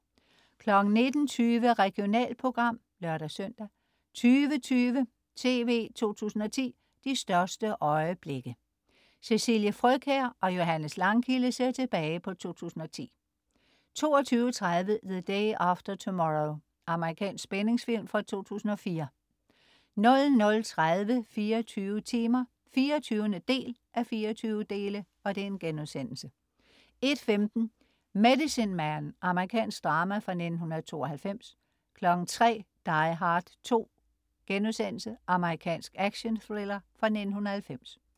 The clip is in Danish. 19.20 Regionalprogram (lør-søn) 20.20 TV 2010: De største øjeblikke. Cecilie Frøkjær og Johannes Langkilde ser tilbage på 2010 22.30 The Day After Tomorrow. Amerikansk spændingsfilm fra 2004 00.30 24 timer 24:24* 01.15 Medicine Man. Amerikansk drama fra 1992 03.00 Die Hard 2.* Amerikansk actionthriller fra 1990